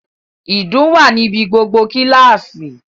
Ìdun wà ní ibi gbogbo kíláàsì